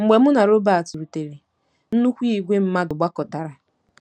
Mgbe mụ na Robert rutere, nnukwu ìgwè mmadụ gbakọtara..